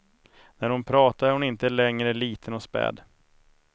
När hon pratar är hon inte längre liten och späd.